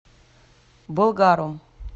болгаром